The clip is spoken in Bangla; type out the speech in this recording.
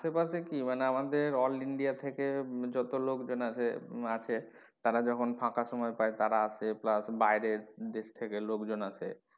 আসে পাশে কি আমাদের all India থেকে যত লোকজন আসে, আছে তারা যখন ফাঁকা সময় পায় তারা আসে plus বাইরের দেশ থেকে লোকজন আসে।